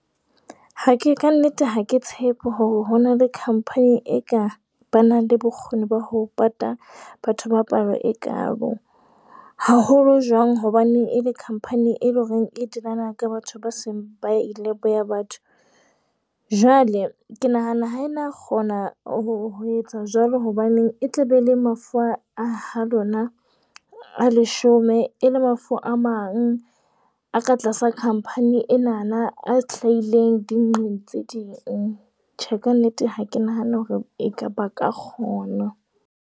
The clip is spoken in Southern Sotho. Ha ke ka nnete.ha ke tshepe hore ho na le company e ka ba nang le bokgoni ba ho pata batho ba palo ekaalo. Haholo jwang hobane e le company e leng hore e dirang ka batho ba seng ba ileng boya batho. Jwale ke nahana ha e na kgona ho etsa jwalo. Hobaneng e tla be le mafu a ha lona a leshome e le mafu a mang a ka tlasa company enana a hlahileng ding tse ding. Tjhe, ka nnete ha ke nahane hore ekaba ba ka kgona.